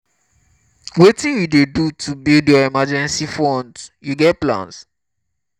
wetin you dey do to build your emergency funds you get plans?